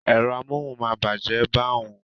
Ẹ̀rọ amóhùn máa bàjẹ́ bá hun